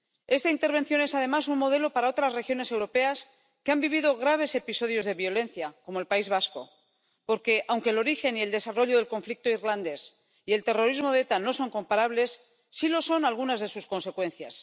Esta intervención es, además, un modelo para otras regiones europeas que han vivido graves episodios de violencia —como el País Vasco— porque, aunque el origen y el desarrollo del conflicto irlandés y el terrorismo de ETA no son comparables, sí lo son algunas de sus consecuencias.